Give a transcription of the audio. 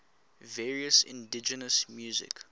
various indigenous music